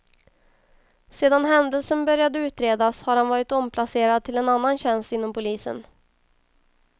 Sedan händelsen började utredas har han varit omplacerad till annan tjänst inom polisen.